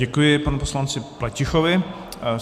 Děkuji panu poslanci Pletichovi.